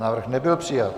Návrh nebyl přijat.